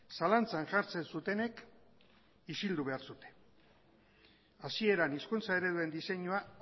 zalantzan jartzen zutenek isildu behar zuten hasieran hizkuntza ereduen diseinua